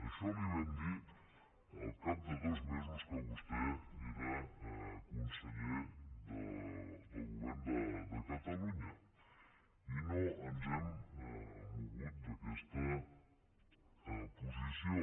això li ho vam dir al cap de dos mesos que vostè era conseller del govern de catalunya i no ens hem mogut d’aquesta posició